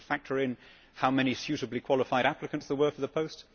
Do you need to factor in how many suitably qualified applicants there were for the post?